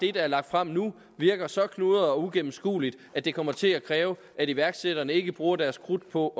er lagt frem nu virker så knudret og uigennemskueligt at det kommer til at kræve at iværksætterne ikke bruger deres krudt på